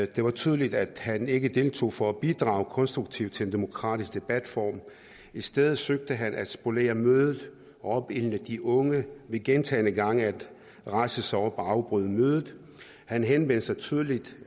det var tydeligt at han ikke deltog for at bidrage konstruktivt til en demokratisk debatform i stedet søgte han at spolere mødet opildne de unge ved gentagne gange at rejse sig op og afbryde mødet han henvendte sig tydeligt